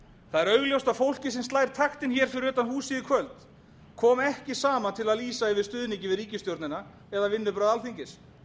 það er augljóst að fólkið sem slær taktinn hér fyrir utan húsið í kvöld kom ekki saman til að lýsa yfir stuðningi við ríkisstjórnina eða vinnubrögð alþingis